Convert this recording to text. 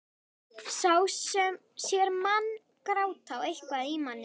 Sá sem sér mann gráta á eitthvað í manni.